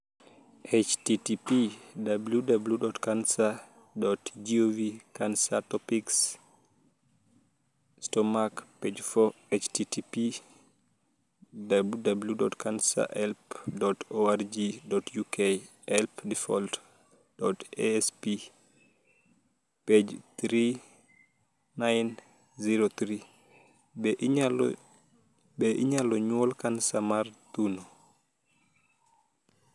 http://www.cancer.gov/cancertopics/wyntk/stomach/page4 http://www.cancerhelp.org.uk/help/default.asp? page=3903 Be inyalo nyuol kansa mar thuno?